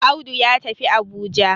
Audu ya tafi Abuja